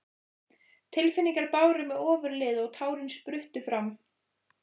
Tilfinningarnar báru mig ofurliði og tárin spruttu fram.